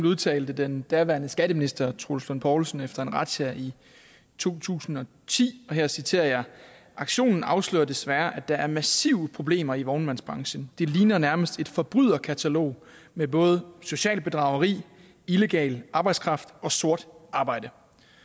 udtalte den daværende skatteminister troels lund poulsen efter en razzia i to tusind og ti og her citerer jeg aktionen afslører desværre at der er massive problemer i vognmandsbranchen det ligner nærmest et forbryderkatalog med både socialt bedrageri illegal arbejdskraft og sort arbejde